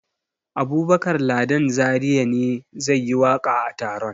Abubakar Ladan Zariya ne zai yi waƙa a taron.